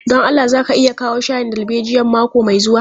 Don Allah za ka iya kawo shayin darbejiyan mako mai zuwa.